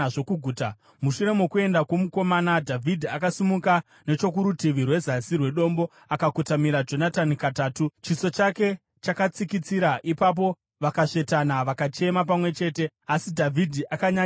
Mushure mokuenda kwomukomana, Dhavhidhi akasimuka nechokurutivi rwezasi rwedombo akakotamira Jonatani katatu, chiso chake chakatsikitsira. Ipapo vakasvetana vakachema pamwe chete asi Dhavhidhi akanyanyisa kuchema.